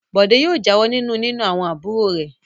Bọ̀dé yóò jáwọ́ nínú nína àwọn àbúrò rẹ̀.